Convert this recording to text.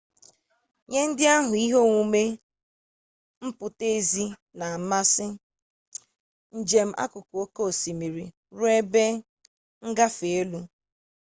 nye ndị ahụ ihe omume mpụta ezi na amasi njem akụkụ oke osimiri ruo ebe ngafe elu